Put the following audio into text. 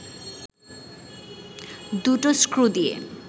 দুটো স্ক্রু দিয়ে